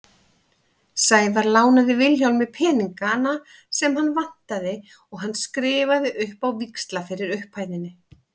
Sævar lánaði Vilhjálmi peningana sem hann vantaði og hann skrifaði upp á víxla fyrir upphæðinni.